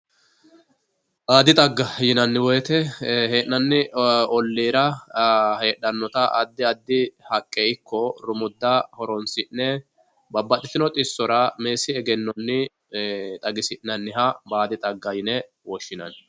baadi dhagga yinanni woyiite hee'nanni olliira heedhanota addi addi haqqe ikko rumudda horonsi'ne babbaxitino dhissora meessi egennonni dhagisi'nanniha baadi dhaggeyine woshshinanni.